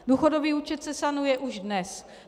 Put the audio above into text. Důchodový účet se sanuje už dnes.